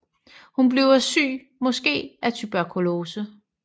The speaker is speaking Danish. Hun bliver syg måske af tuberkulose